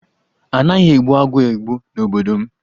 A naghi egbu agwọ́ egbu n'obodo m.